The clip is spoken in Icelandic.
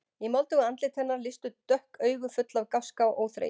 Í moldugu andliti hennar lýstu dökk augu, full af gáska og óþreyju.